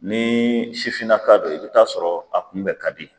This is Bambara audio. Ni sifinnaka do i bɛ taa sɔrɔ a kunbɛ ka di.